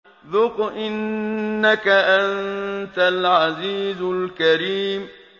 ذُقْ إِنَّكَ أَنتَ الْعَزِيزُ الْكَرِيمُ